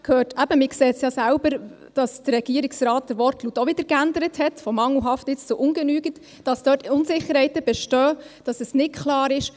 Man sieht ja selber – der Regierungsrat hat den Wortlaut auch wieder von «mangelhaft» zu «ungenügend» geändert –, dass dort Unsicherheiten bestehen, dass es nicht klar ist.